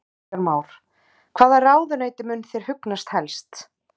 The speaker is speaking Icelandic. Kristján Már: Hvaða ráðuneyti mun þér hugnast helst?